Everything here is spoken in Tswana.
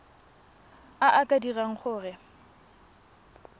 a a ka dirang gore